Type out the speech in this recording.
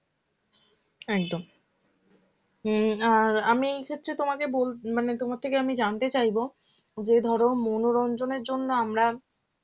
একদম উম অ্যাঁ আর আমি এই ক্ষেত্রে তোমাকে বলতে~ মানে তোমার থেকে আমি জানতে চাইবো যে ধরো মনোরঞ্জনের জন্য আমরা,